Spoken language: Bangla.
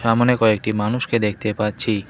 আমোনে কয়েকটি মানুষকে দেখতে পাচ্ছি।